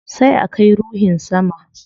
Sai a kai ruhin sama